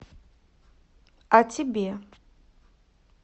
а тебе